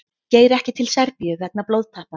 Geir ekki til Serbíu vegna blóðtappa